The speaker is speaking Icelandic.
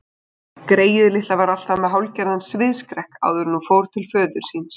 Greyið litla var alltaf með hálfgerðan sviðsskrekk áður en hún fór til föður síns.